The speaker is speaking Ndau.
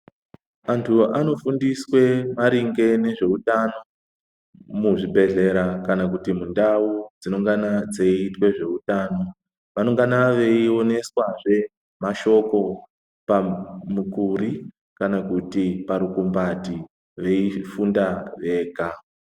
Anthu anofundiswe maringe nezveutano muzvibhedhlera kana kuti mundau dzinoungana dzeiitwe zveutano, vanoungana veioneswa zve mashoko pamukuri kana kuti parugombati veifunda vega.